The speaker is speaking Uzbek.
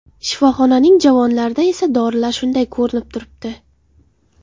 Shifoxonaning javonlarida esa dorilar shunday ko‘rinib turibdi.